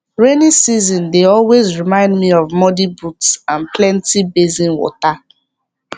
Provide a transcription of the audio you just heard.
rainy season dey always remind me of muddy boots and plenty basin water